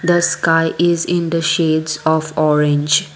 the sky is in the shades of orange..